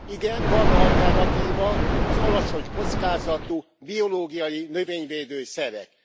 Igen, van alternatíva, az alacsony kockázatú biológia növényvédő szerek.